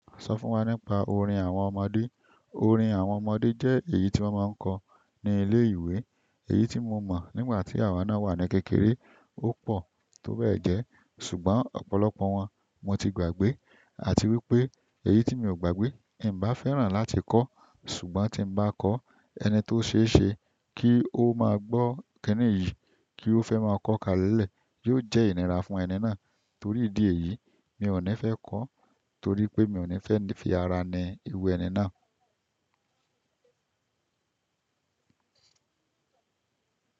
Sọ fún wa nípa orin àwọn ọmọdé. Orin àwọn ọmọdé jẹ́ èyí tí wọ́n máa ń kọ ní ilé ìwé. Èyí tí mo mọ̀ nígbà tí àwa náà wà ní kékeré, ó pọ̀ tó bẹ́ẹ̀ gẹ. Ṣùgbọ́n ọ̀pọ̀lọpọ̀ wọn mo ti gbàgbé. Àti wípé èyí tí mi ò gbàgbé, ẹ̀mí bá fẹ́ràn láti kọ́, ṣùgbọ́n tí ń bá kọ́, ẹni tó ṣe é ṣe kí ó máa gbọ́ kinni yìí, kí ó fẹ́ máa kọ ka lélẹ̀, yóò jẹ́ ìnira fún ẹni náà. Torí ìdí èyí, mi ò ní fẹ́ kọ́, torí pé mi ò ní fẹ́ fi ara ni iru ẹni náà.